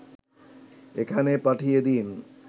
এখানে পাঠিয়ে দিন